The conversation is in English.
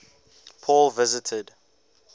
paul visited